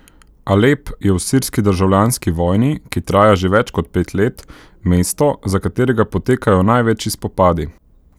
Alep je v sirski državljanski vojni, ki traja že več kot pet let, mesto, za katerega potekajo največji spopadi.